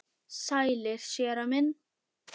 Sælir, séra minn.